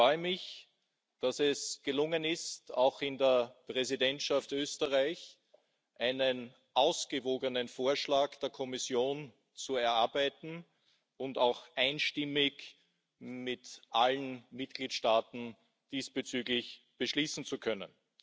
Ich freue mich, dass es gelungen ist, auch in der Präsidentschaft Österreich einen ausgewogenen Vorschlag der Kommission zu erarbeiten und auch einstimmig mit allen Mitgliedstaaten beschließen zu können.